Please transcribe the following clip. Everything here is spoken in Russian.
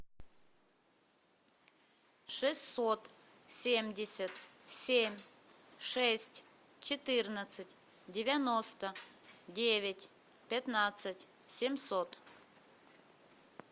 шестьсот семьдесят семь шесть четырнадцать девяносто девять пятнадцать семьсот